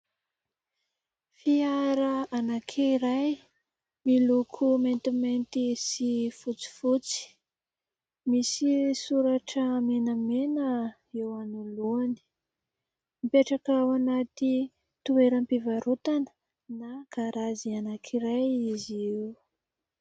Fiara anankiray miloko maintimainty sy fotsifotsy misy soratra menamena eo anoloany ; mipetraka ao anaty toeram-pivarotana na garazy anankiray izy eo.